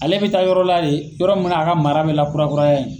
Ale bɛ taa yɔrɔla de, yɔrɔ munna a ka mara bɛ lakurakuraya yen.